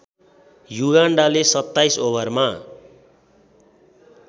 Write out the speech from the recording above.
युगान्डाले २७ ओभरमा